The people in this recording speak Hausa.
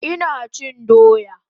Ina chin doya